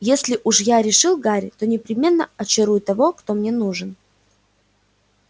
если уж я решил гарри то непременно очарую того кто мне нужен